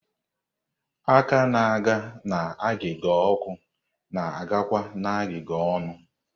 Aka na-aga n'agịga ọkụ na-agakwa n'agiga ọnụ.